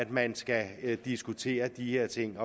man skal diskutere de her ting